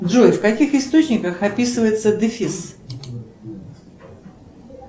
джой в каких источниках описывается дефис